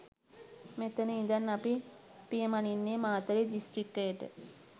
මෙතන ඉඳන් අපි පියමනින්නේ මාතලේ දිස්ත්‍රික්කයට.